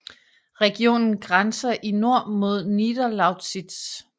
Regionen grænser i nord mod Niederlausitz